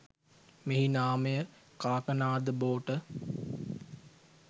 මෙහි නාමය කාකනාද බෝට